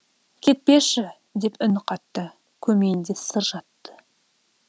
кетпеші деп үн қатты көмейінде сыр жатты